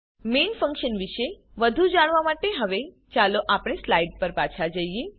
main function વિશે વધુ જાણવા માટે હવે ચાલો આપણે સ્લાઈડ પર જઈએ